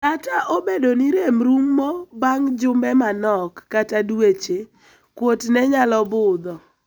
Kata obedo ni rem rumo bang' jumbe manok kata dweche ,kuot ne nyalo budho.